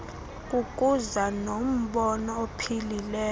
kukuza nombono ophilileyo